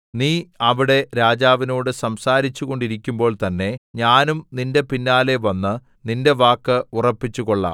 നീ അവിടെ രാജാവിനോട് സംസാരിച്ചു കൊണ്ടിരിക്കുമ്പോൾതന്നെ ഞാനും നിന്റെ പിന്നാലെ വന്ന് നിന്റെ വാക്ക് ഉറപ്പിച്ചുകൊള്ളാം